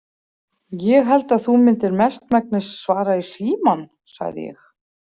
Ég held að þú myndir mestmegnis svara í símann, sagði ég.